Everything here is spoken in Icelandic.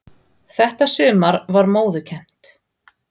Þetta sumar var móðukennt.